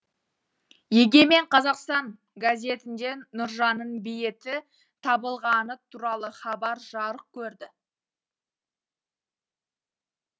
егемен қазақстан газетінде нұржанның бейіті табылғаны туралы хабар жарық көрді